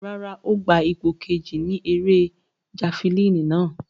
Rárá, o gba ipo keji ni ere jafilini nàa